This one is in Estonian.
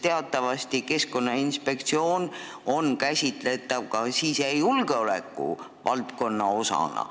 Teatavasti on Keskkonnainspektsioon käsitletav ka sisejulgeoleku valdkonna osana.